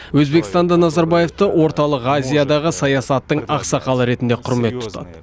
өзбекстанда назарбаевты орталық азиядағы саясаттың ақсақалы ретінде құрмет тұтады